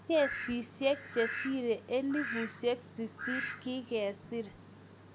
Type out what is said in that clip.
kesishek chesire elfusiek sisit kigesir